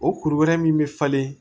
O kuru wɛrɛ min bɛ falen